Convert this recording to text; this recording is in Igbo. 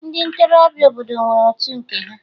Ndị ntorobịa obodo nwere otu nke ha